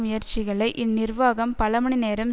முயற்சிகளை இந்நிர்வாகம் பலமணிநேரம்